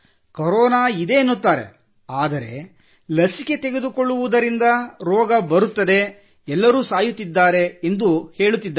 corona ಇದೆ ಎನ್ನುತ್ತಾರೆ ಆದರೆ ಲಸಿಕೆ ತೆಗೆದುಕೊಳ್ಳುವುದರಿಂದ ರೋಗ ಬರುತ್ತದೆ ಎಲ್ಲರೂ ಸಾಯುತ್ತಿದ್ದಾರೆ ಎಂದು ಹೇಳುತ್ತಿದ್ದಾರೆ